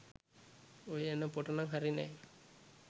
ඔය එන පොටනං හරි නෑ